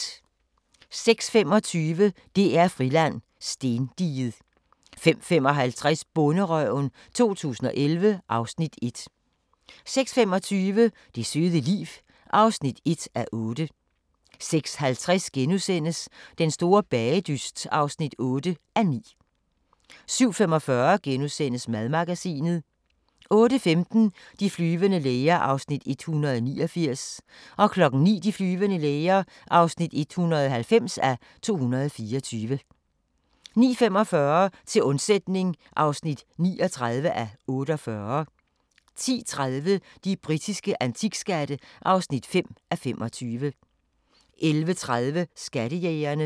05:25: DR-Friland: Stendiget 05:55: Bonderøven 2011 (Afs. 1) 06:25: Det søde liv (1:8) 06:50: Den store bagedyst (8:9)* 07:45: Madmagasinet * 08:15: De flyvende læger (189:224) 09:00: De flyvende læger (190:224) 09:45: Til undsætning (39:48) 10:30: De britiske antikskatte (5:25) 11:30: Skattejægerne